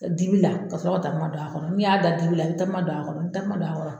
Dibi la ka sɔrɔ ka takuma don a kɔrɔ, ni y'a da dibi la, i bi takuma don a kɔrɔ, i bi takuma don a kɔrɔ